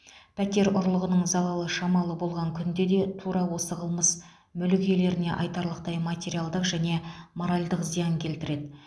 пәтер ұрлығының залалы шамалы болған күнде де тура осы қылмыс мүлік иелеріне айтарлықтай материалдық және моральдық зиян келтіреді